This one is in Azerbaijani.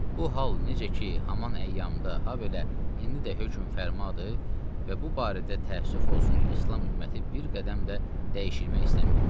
Bu hal necə ki, haman əyyamda, ha belə indi də hökm fərmadır və bu barədə təəssüf olsun ki, İslam ümməti bir qədəm də dəyişmək istəməyib.